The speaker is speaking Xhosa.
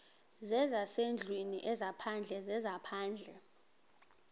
zezasendlwini ezaphandle zezaphandle